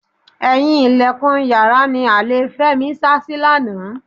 Ẹ̀yìn ìlẹ̀kùn yàrá ni àlè Fẹ́mi sásí lánàá.